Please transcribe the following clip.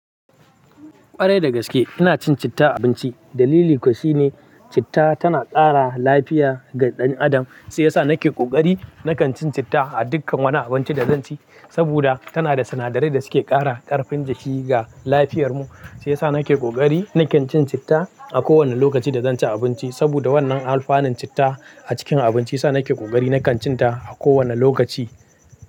Ƙwarai dagaske ina cin citta a abinci. Dalili kuwa shine citta tana ƙara lafiya ga ɗan adam. Sai yasa nake ƙoƙari nakan cin citta a dukkan wani abinci da zanci saboda tana da sinadarai da suke ƙara ƙarfin jiki ga lafiyar mu. Sai yasa nake ƙoƙari nakan cin citta a kowane lokaci da zanci abinci. Saboda wannan alfanun citta a cikin abinci yasa nake ƙoƙari nakan cin ta a kowane lokaci.